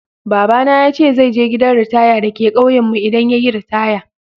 Baba na ya ce zai je gidan ritaya dake kauyen mu idan yayi ritaya.